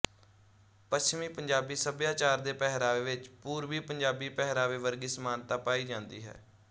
ਪੱਛਮੀ ਪੰਜਾਬੀ ਸੱਭਿਆਚਾਰ ਦੇ ਪਹਿਰਾਵੇ ਵਿੱਚ ਪੂਰਬੀ ਪੰਜਾਬੀ ਪਹਿਰਾਵੇ ਵਰਗੀ ਸਮਾਨਤਾ ਪਾਈ ਜਾਂਦੀ ਹੈ